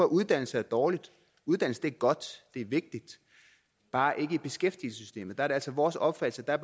uddannelse er dårligt uddannelse er godt det er vigtigt bare ikke i beskæftigelsessystemet der er det altså vores opfattelse at